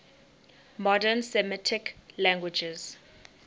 modern semitic languages